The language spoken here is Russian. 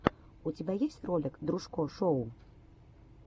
у тебя есть ролик дружко шоу